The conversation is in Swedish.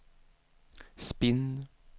spinn